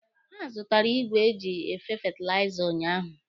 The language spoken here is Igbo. Ha zụtara igwe eji efe fetilaiza ụnyaahụ.